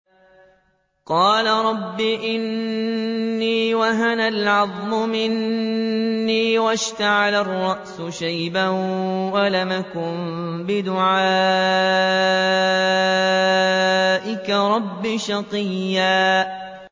قَالَ رَبِّ إِنِّي وَهَنَ الْعَظْمُ مِنِّي وَاشْتَعَلَ الرَّأْسُ شَيْبًا وَلَمْ أَكُن بِدُعَائِكَ رَبِّ شَقِيًّا